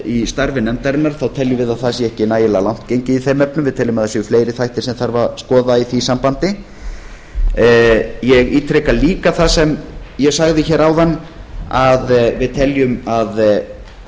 í starfi nefndarinnar teljum við að það sé ekki nægilega langt gengið í þeim efnum við teljum að það séu fleiri þættir sem þarf að skoða í því sambandi ég ítreka líka það sem ég sagði hér áðan að við teljum að